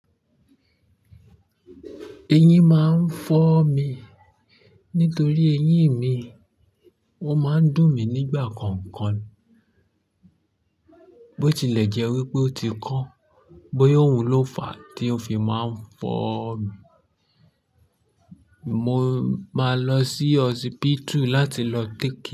Eyin máa ń fọ́ mi nítorí eyín mi wọ́n máa ń dùn mí nígbà kọ̀ọ̀kan. Bo tilẹ̀ jẹ́ wípé ó ti kan, bóyá òun ló fàá tí ó fi máa ń fọ́ mi. Mo máa lọ sí hospital láti lọ take.